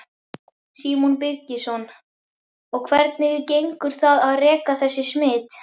Símon Birgisson: Og hvernig gengur það að rekja þessi smit?